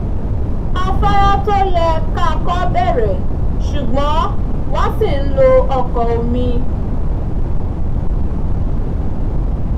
afára tó yẹ ká kọ̀ bẹ̀rẹ̀ ṣùgbọ́n wọ́n ṣì ń lo ọkọ̀ omi